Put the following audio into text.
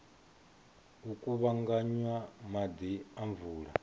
u kuvhanganya maḓi a mvula